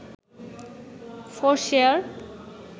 4share